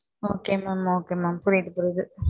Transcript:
Ok ma'am புரியுது